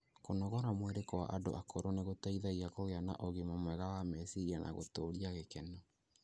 Kũnogora mwĩrĩ kwa andũ akũrũ nĩ gũteithagia kũgĩa na ũgima mwega wa meciria na gũtũũria gĩkeno.